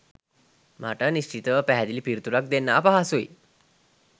මට නිශ්චිතව පැහැදිලි පිළිතුරක් දෙන්න අපහසුයි